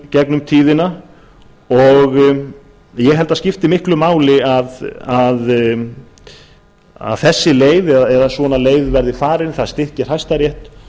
gegnum tíðina og ég held að það skipti miklu máli að þessi leið eða svona leið verði farin það styrki hæstarétt